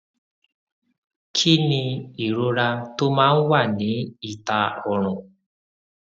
kí ni ìrora tó máa ń wà ní ìta ọrùn